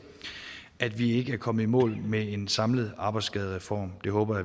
at vi ikke er kommet i mål med en samlet arbejdsskadereform det håber